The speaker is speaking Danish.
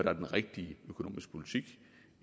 er den rigtige økonomiske politik